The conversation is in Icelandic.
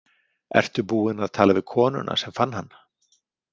Ertu búinn að tala við konuna sem fann hann?